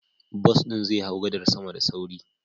Bus ɗin zai hau gadar sama da sauri.